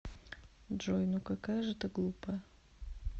джой ну какая же ты глупая